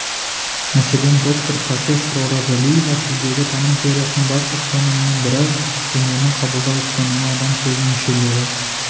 мәселен доктор профессор оразалиева тілдегі таным теориясының басты ұстанымының бірі дүниені қабылдау ұстанымы адам сезім мүшелері